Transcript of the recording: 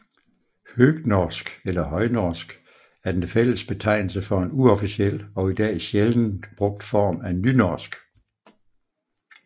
Høgnorsk eller højnorsk er den fælles betegnelse for en uofficiel og i dag sjældent brugt form af nynorsk